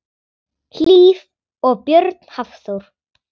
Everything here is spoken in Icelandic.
Hlíf og Björn Hafþór.